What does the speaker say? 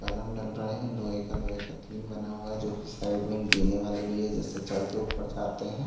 Column डल रहै है लोहै का लोहै का टीन बना हुआ हैं जो की साइड मे जीने वाले भी जिससे चड़ के ऊपर जाते है।